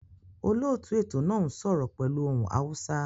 Olóòtú ètò náà n sọ́rọ́ pẹ́lu ohun Hausa